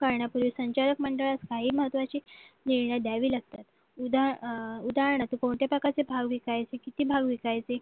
पाहण्यापूर्वी संचालक मंडळात स्थायी महत्वाची निर्णय द्यावी लागतात उदाहरणार्थ कोणत्या प्रकारचे भाव विकायचे किती भाव विकायचे